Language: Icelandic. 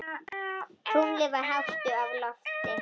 Tunglið var hátt á lofti.